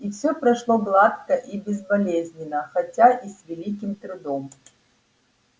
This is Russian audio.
и всё прошло гладко и безболезненно хотя и с великим трудом